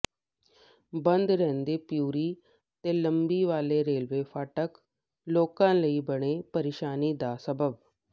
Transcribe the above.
ਬੰਦ ਰਹਿੰਦੇ ਪਿਉਰੀ ਤੇ ਲੰਬੀ ਵਾਲੇ ਰੇਲਵੇ ਫਾਟਕ ਲੋਕਾਂ ਲਈ ਬਣੇ ਪ੍ਰੇਸ਼ਾਨੀ ਦਾ ਸਬੱਬ